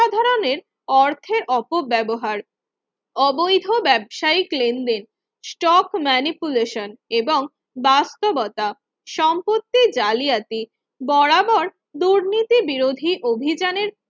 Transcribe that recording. ধরনের অর্থের অপব্যবহার অবৈধ ব্যবসায়িক লেনদেন stock manipulation এবং বাস্তবতা সম্পত্তির জালিয়াতি বরাবর দুর্নীতি বিরোধী অভিযানের